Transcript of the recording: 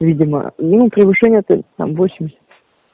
видимо ну превышение там восемьдесят